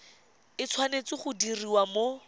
e tshwanetse go diriwa mo